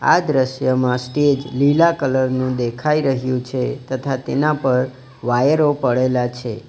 આ દ્રશ્યમાં સ્ટેજ લીલા કલર નું દેખાય રહ્યું છે તથા તેના પર વાયરો પડેલા છે.